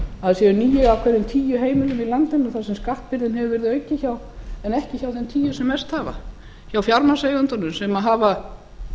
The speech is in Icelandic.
að það séu níu af hverjum tíu heimilum í landinu þar sem skattbyrðin hefur verið aukin hjá en ekki hjá þeim tíu sem mest hafa hjá fjármagnseigendunum sem hafa